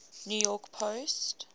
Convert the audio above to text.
new york post